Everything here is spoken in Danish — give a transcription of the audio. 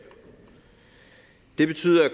det betyder at